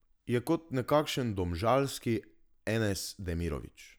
Je kot nekakšen domžalski Enes Demirović.